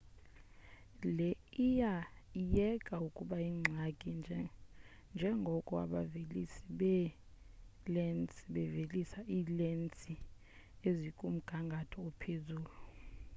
le iya iyeka ukuba yingxaki njengoko abavelisi beelensi bevelisa iilensi ezikumgangatho ophezulu